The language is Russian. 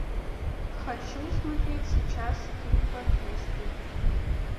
хочу смотреть сейчас скейтбордисты